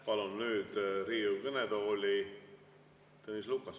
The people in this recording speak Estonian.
Palun nüüd Riigikogu kõnetooli Tõnis Lukase.